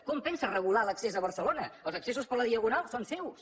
com pensa regular l’accés a barcelona els accessos per la diagonal són seus